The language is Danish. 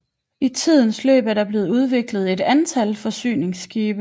I tidens løb er der blevet udviklet et antal forsyningsskibe